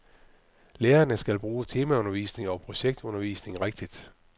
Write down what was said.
Lærerne skal bruge temaundervisning og projektundervisning rigtigt.